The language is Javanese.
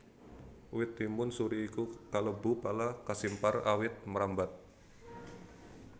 Wit timun suri iku kalebu pala kasimpar awit mrambat